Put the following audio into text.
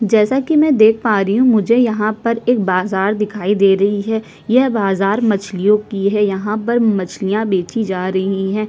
जैसा की मै देख पा रही हूं मुझे यहाँ पर एक बाजार दिखाई दे रही है यह बाजार मछलियों की है यहाँ पर मछलियाँ बेची जा रही है।